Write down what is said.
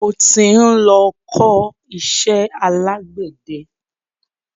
Mo tí ń lọ ń kọ iṣẹ́ alágbẹ̀de.